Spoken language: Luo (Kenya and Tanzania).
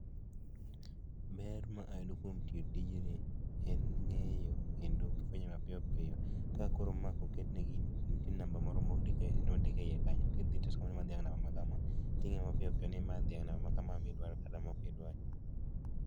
Ber ma ayudo kuom timo tijni en ni en ng'eyo kendo fwenyo mapiyo piyo ka koro ma koketne gini nitie namab moro mondik e iye kanyo kidhi tisomo ni en dhiang' namba makama midwaro kata ma ok idwar.